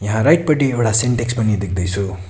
यहाँ राइट पटि एउडा सेन्टेक्स पनि देख्दै छु।